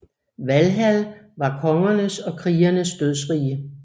Valhall var kongernes og krigernes dødsrige